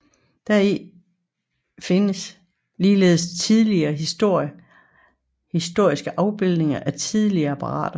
Deri findes ligeledes talrige historiske afbildninger af tidlige apparater